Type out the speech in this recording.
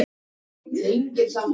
Sunníva, spilaðu lagið „Vængjalaus“.